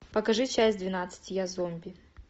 покажи часть двенадцать я зомби